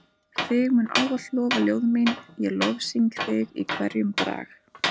Þig munu ávallt lofa ljóð mín ég lofsyng þig í hverjum brag.